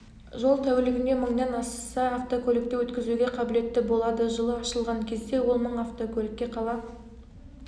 жол тәулігіне мыңнан аса автокөлікті өткізуге қабілетті болады жылы ашылған кезде ол мың автокөлікке қала